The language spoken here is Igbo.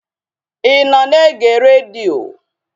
Ị nọ na-ege redio?